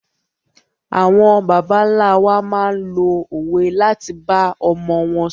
Àwọn bàbá ńlá wa máa ń lo òwe láti bá ọmọ wọn ṣòro.